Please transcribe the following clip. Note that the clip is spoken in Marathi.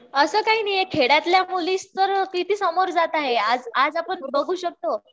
असं काही नाहीये खेड्यातल्या मुलीतर किती समोर जात आहे आज आपण बघू शकतो